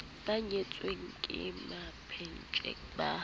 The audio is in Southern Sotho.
ba nyetseng ke mampetje ba